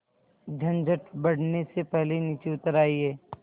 झंझट बढ़ने से पहले नीचे उतर आइए